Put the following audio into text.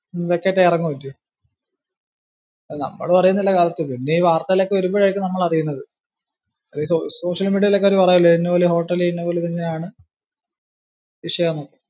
നമ്മളും അറിയുന്നില്ല correct പിന്നെ ഈ വാർത്തയിൽ ഒക്കെ വരുമ്പോഴായിരിക്കും നമ്മൾ അറിയുന്നത്. social media യിലൊക്കെ അവര് പറയുവല്ലോ ഇന്ന പോലെ ഒരു hotel ഇൽ ഇന്നപോലെതങ്ങാനാണ്‌ വിഷയമാണ്.